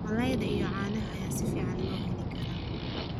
malaaydha iyo caanaha ayaa si fiican loheli kara.